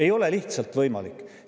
Ei ole lihtsalt võimalik!